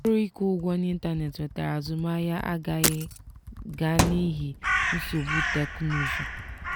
ọrụ ịkwụ ụgwọ n'ịntanetị nwetara azụmahịa agaghị ga n'ihi nsogbu teknụzụ.